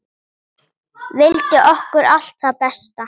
Vildi okkur allt það besta.